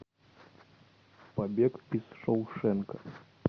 побег из шоушенка